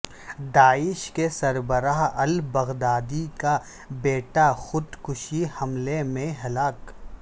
داعش کے سربراہ البغدادی کا بیٹا خود کش حملے میں ہلاک